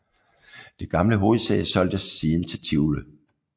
Det gamle hovedsæde solgtes siden til Tivoli